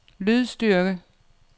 lydstyrke